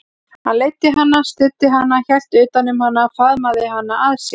Hann leiddi hana, studdi hana, hélt utan um hana, faðmaði hana að sér.